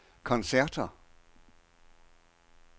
koncerter